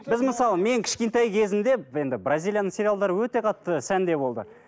біз мысалы мен кішкентай кезімде енді бразилияның сериалдары өте қатты сәнде болды